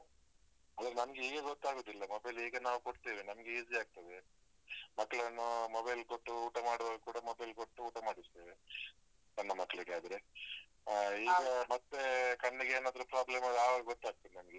ಅಲ ನಮ್ಗೆ ಈಗ ಗೊತ್ತಾಗುದಿಲ್ಲ, mobile ಈಗ ನಾವು ಕೊಡ್ತೇವೆ. ನಮ್ಗೆ easy ಆಗ್ತದೆ. ಮಕ್ಳನ್ನು mobile ಕೊಟ್ಟು ಊಟ ಮಾಡುವಾಗ ಕೂಡ mobile ಕೊಟ್ಟು ಊಟ ಮಾಡಿಸ್ತೇವೆ, ಸಣ್ಣ ಮಕ್ಳಿಗೆ ಆದ್ರೆ. ಅಹ್ ಈಗ ಮತ್ತೆ ಕಣ್ಣಿಗೇನಾದ್ರೂ problem ಆಗ್ವಾಗ್ ಆವಾಗ್ ಗೊತ್ತಾಗ್ತದೆ ನಮ್ಗೆ.